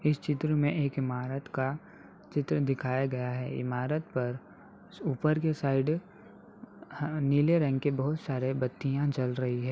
इस चित्र में एक इमारत का चित्र दिखाया गया है। इमारत पर ऊपर के साइड ह नीले रंग के बहुत सारे बत्तियां जल रही हैं।